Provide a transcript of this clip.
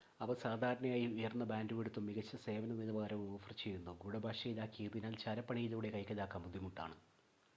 അവ സാധാരണയായി ഉയർന്ന ബാൻഡ്‌വിഡ്ത്തും മികച്ച സേവന നിലവാരവും ഓഫർ ചെയ്യുന്നു ഗൂഡഭാഷയിലാക്കിയതിനാൽ ചാരപ്പണിയിലൂടെ കൈക്കലാക്കാൻ ബുദ്ധിമുട്ടാണ്